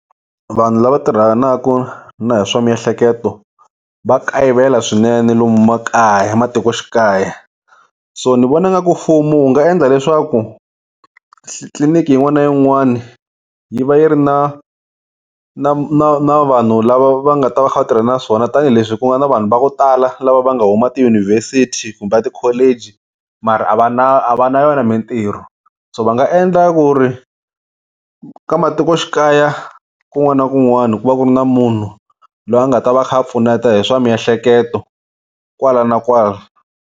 Vanhu lava tirhanaka na hi swa miehleketo va kayivela swinene lomu makaya matikoxikaya so ni vona nga ku mfumo wu nga endla leswaku tliliniki yin'wana na yin'wana yi va yi ri na na na na vanhu lava va nga ta va tirha na swona tanihileswi ku nga na vanhu vo tala lava va nga huma tiyunivhesiti kumbe tikholeji mara a va na a va na yona mintirho so va nga endla ku ri ka matikoxikaya kun'wana na kun'wana ku va ku ri na munhu loyi a nga ta va a kha a pfuneta hi swa miehleketo kwala na kwala.